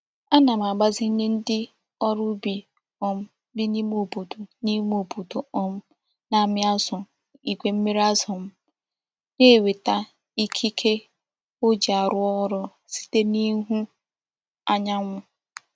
Ana m agbazinye ndi órú ubi um bi n'ime obodo n'ime obodo um na-ami azu igwe mmiri azu m na-enweta ikike o ji aru órú site n'ihu anyanwu.